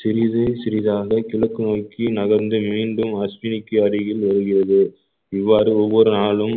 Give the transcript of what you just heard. சிறிது சிறிதாக கிழக்கு நோக்கி நகர்ந்து மீண்டும் அஷ்வினிக்கு அருகில் வருகிறது இவ்வாறு ஒவ்வொரு நாளும்